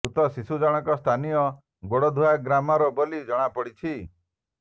ମୃତ ଶିଶୁ ଜଣଙ୍କ ସ୍ଥାନୀୟ ଗୋଡଧୁଆ ଗ୍ରାମର ବୋଲି ଜଣାପଡି ପଡିଛି